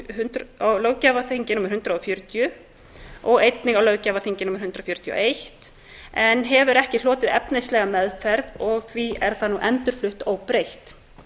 og fertugasta löggjafarþingi og á hundrað fertugasta og fyrsta löggjafarþingi en hefur ekki hlotið efnislega meðferð það er nú endurflutt óbreytt